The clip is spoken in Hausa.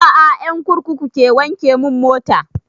A'a ƴan kurkuku ke wanke mun mota